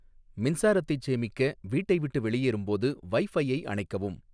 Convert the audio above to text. மின்சாரத்தைச் சேமிக்க வீட்டை விட்டு வெளியேறும் போது வைஃபையை அணைக்கவும்